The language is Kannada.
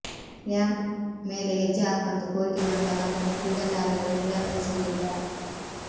ರ್್ಯಾಂಪ್ ಮೇಲೆ ಹೆಜ್ಜೆ ಹಾಕುವಂತೆ ಕೋರಿಕೆ ಬಂದಾಗ ಅದನ್ನು ಕ್ರೀಡಾತಾರೆಯರು ನಿರಾಕರಿಸುವುದಿಲ್ಲ